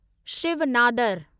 Shiv Nadar